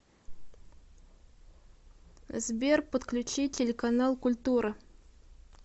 сбер подключи телеканал культура